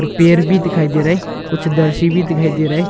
पेर भी दिखाई दे रहा है कुछ दर्शी भी दिखाई दे रहा है।